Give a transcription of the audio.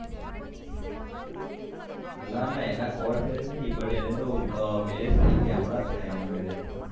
ના ના એના courtmarraige નહિ એને તો હમણાં જ marriage થાય એને તો